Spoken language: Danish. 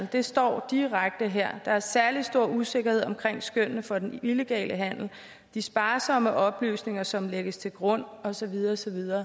det står direkte her der er særlig stor usikkerhed omkring skønnene for den illegale handel de sparsomme oplysninger som lægges til grund og så videre og så videre